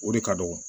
O de ka dɔgɔ